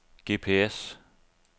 GPS